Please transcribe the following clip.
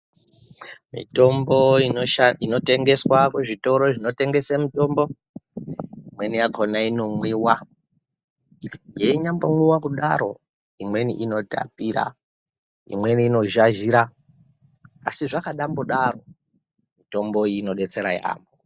Mitombo inotengeswa kuzvitoro zvinotengesa mitombo imweni yakona inomwiwa yeinyambomwiwa kudaro imweni inotapira imweni inozhazhira asi zvakanyambodaro mitombo iyi inodetsera yambo.